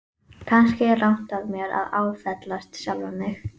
Kannski er rangt af mér að áfellast sjálfan mig.